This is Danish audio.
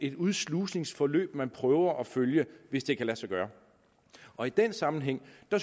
et udslusningsforløb man prøver at følge hvis det kan lade sig gøre og i den sammenhæng